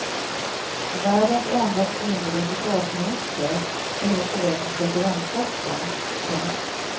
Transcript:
Världens enda kvinnliga försvarsminister är nu på väg mot presidentposten. punkt